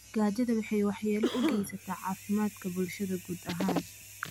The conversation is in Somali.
Gaajada waxay waxyeelo u geysataa caafimaadka bulshada guud ahaan.